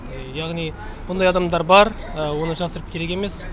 яғни мұндай адамдар бар оны жасырып керек емес